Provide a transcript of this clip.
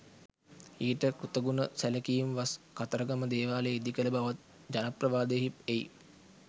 ඊට කෘතගුණ සැලකීම්වස් කතරගම දේවාලය ඉදිකළ බවත් ජනප්‍රවාදයෙහි එයි.